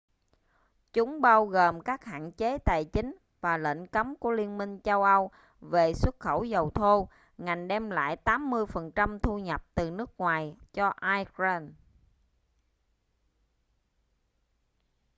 chúng bao gồm các hạn chế tài chính và lệnh cấm của liên minh châu âu về xuất khẩu dầu thô ngành đem lại 80% thu nhập từ nước ngoài cho iran